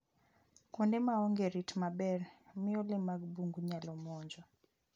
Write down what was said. Kuonde ma onge rit maber miyo le mag bungu nyalo monjo.